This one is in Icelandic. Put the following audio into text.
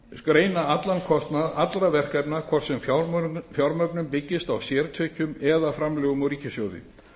greina allan kostnað allra verkefna hvort sem fjármögnun byggist á sértekjum eða framlögum úr ríkissjóði